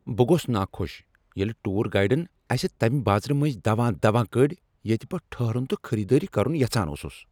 بہٕ گوس ناخۄش ییٚلہ ٹوٗر گایڈن أسہِ تمہ بازرٕ منٛزٕ دوان دوان کٔڑۍ ییٚتہ بہٕ ٹٔھہرُن تہٕ خریٖدٲری کرُن یژھان اوسُس۔